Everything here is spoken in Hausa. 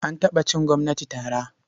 An taɓa cin gwamnati tara.